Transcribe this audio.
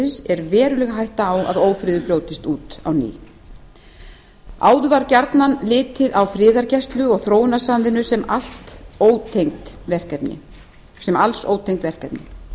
friðarferlisins er veruleg hætta á að ófriður brjótist út á ný áður var gjarnan litið á friðargæslu og þróunarsamvinnu sem alls ótengd verkefni